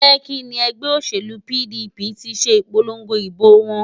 Lekki ni ẹgbẹ́ òṣèlú PDP ti ṣe ìpolongo ìbò wọn